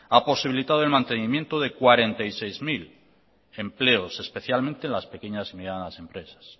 ha posibilitado el mantenimiento de cuarenta y seis mil empleos especialmente en las pequeñas y medianas empresas